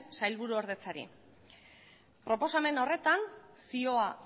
sailburuordetzari proposamen horretan zioa